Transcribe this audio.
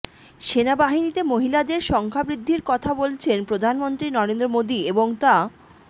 সেনাবাহিনীতে মহিলাদের সংখ্যাবৃদ্ধির কথা বলছেন প্রধানমন্ত্রী নরেন্দ্র মোদী এবং তা